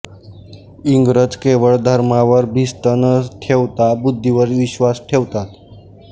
इंग्रज केवळ धर्मावर भिस्त न ठेवता बुद्धिवर विश्वास ठेवतात